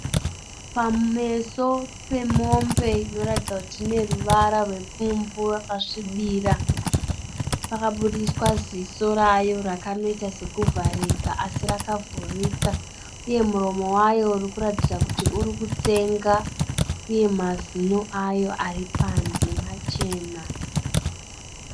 Pameso pemombe inoratidza kuti ine ruvara rwepfumbu rakasvibira. Pakabudiswa ziso rayo rakanoita sekuvharika asi rakavhurika uye muromo wayo urikuratidza kuti uri kutsenga uye mazino ayo aripanze machena.